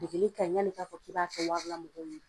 Degeli kaɲi ɲan'i ka fɔ k'i b'a kɛ wari la mɔgɔw ye .